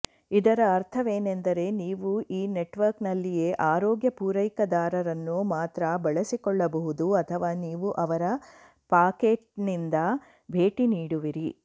ಇದರ ಅರ್ಥವೇನೆಂದರೆ ನೀವು ಆ ನೆಟ್ವರ್ಕ್ನಲ್ಲಿಯೇ ಆರೋಗ್ಯ ಪೂರೈಕೆದಾರರನ್ನು ಮಾತ್ರ ಬಳಸಿಕೊಳ್ಳಬಹುದು ಅಥವಾ ನೀವು ಅವರ ಪಾಕೆಟ್ನಿಂದ ಭೇಟಿ ನೀಡುವಿರಿ